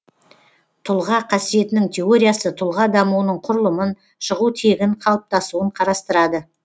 тұлға қасиетінің теориясы тұлға дамуының құрылымын шығу тегін қалыптасуын қарастырады